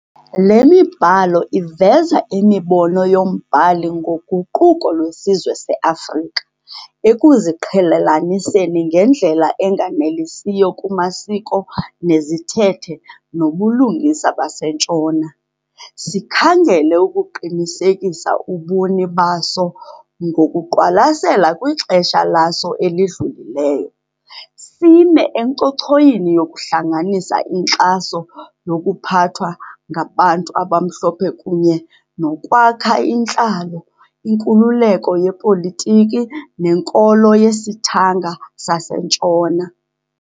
Le mibhalo iveza imibono yombhali ngoguquko lwesizwe se-Afrika, ekuziqhelelaniseni ngendlela enganelisiyo kumasiko nezithethe nobulungisa baseNtshona, sikhangele ukuqinisekisa ubuni baso ngokuqwalasela kwixesha laso elidlulileyo, sime encochoyini yokuhlanganisa inkxaso yokuphathwa ngabantu abamhlophe kunye nokwakha intlalo, inkululeko yepolitiki nenkolo yesithanga saseNtshona.